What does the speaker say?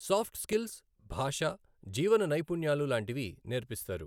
Soft skills, భాష, జీవన నైపుణ్యాలు లాంటివి నేర్పిస్తారు .